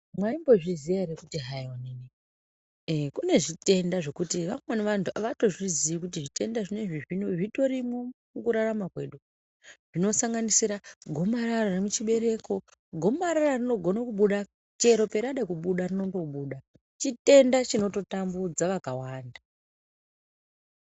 Mwaimbozviziya ere kuti hai onini e kunezvitenda zvokuti vamweni vanhu avatozviziyi kuti zvitenda zvinoizvi zvitorimwo mukurararma kwedu zvinosanganisira gomarara remuchibereko ,gomarara rinogone kubuda chero parada kubuda rinongobuda chitenda chinototambudza vakawanda.